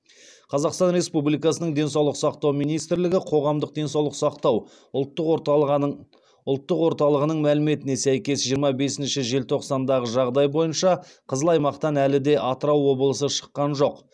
қазақстан республикасының денсаулық сақтау министрлігі қоғамдық денсаулық сақтау ұлттық орталығының мәліметіне сәйкес жиырма бесінші желтоқсандағы жағдай бойынша қызыл аймақтан әлі де атырау облысы шыққан жоқ